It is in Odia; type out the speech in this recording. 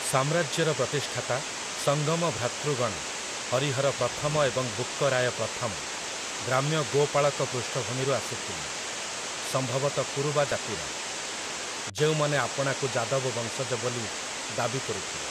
ସାମ୍ରାଜ୍ୟର ପ୍ରତିଷ୍ଠାତା, ସଙ୍ଗମ ଭ୍ରାତୃଗଣ, ହରିହର ପ୍ରଥମ ଏବଂ ବୁକ୍କ ରାୟ ପ୍ରଥମ, ଗ୍ରାମ୍ୟ ଗୋପାଳକ ପୃଷ୍ଠଭୂମିରୁ ଆସିଥିଲେ, ସମ୍ଭବତଃ କୁରୁବା ଜାତିର, ଯେଉଁମାନେ ଆପଣାକୁ ଯାଦବ ବଂଶଜ ବୋଲି ଦାବି କରୁଥିଲେ ।